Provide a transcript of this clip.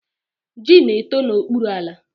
Ji na-eto n'okpuru ala.